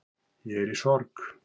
Ég er í sorg